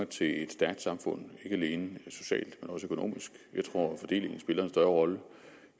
til et stærkt samfund ikke alene socialt men også økonomisk jeg tror at fordelingen spiller en større rolle